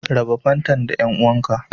Raɓa fantan da dan'uwan ka.